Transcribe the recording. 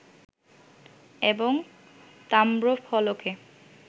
এবং তাম্রফলকে